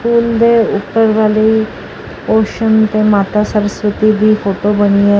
ਫੂਲ ਦੇ ਉੱਪਰ ਵਾਲੇ ਪੋਰਸ਼ਨ ਤੇ ਮਾਤਾ ਸਰਸਵਤੀ ਦੀ ਫੋਟੋ ਬਣੀ ਹੋਈ ।